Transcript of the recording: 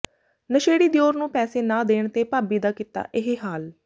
ਨਸ਼ੇੜੀ ਦਿਓਰ ਨੂੰ ਪੈਸੇ ਨਾ ਦੇਣ ਤੇ ਭਾਬੀ ਦਾ ਕੀਤਾ ਇਹ ਹਾਲ